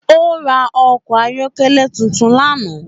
Ó ra ọkọ̀ ayọ́kẹ́lẹ́ tuntun lánàá